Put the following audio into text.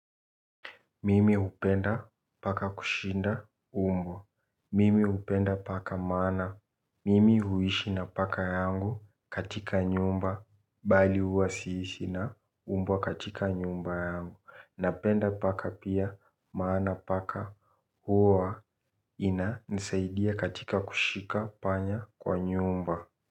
Mimi hupenda paka kushinda umbwa. Mimi hupenda paka maana. Mimi huishi na paka yangu katika nyumba bali huwa siishi na mbwa katika nyumba yangu. Napenda paka pia maana paka huwa inanisaidia katika kushika panya kwa nyumba.